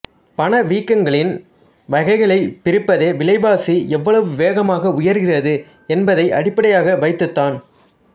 பணவீக்கங்களின் வகைகளை பிரிப்பதே விலை வாசி எவ்வளவு வேகமாக உயர்கிறது என்பதை அடிப்படியாக வைத்துதான்